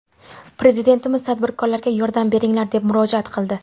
Prezidentimiz tadbirkorlarga ‘yordam beringlar’, deb murojaat qildi.